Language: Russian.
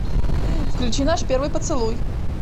включи наш первый поцелуй